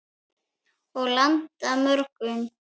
Og landa mörgum.